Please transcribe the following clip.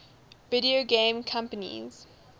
video game companies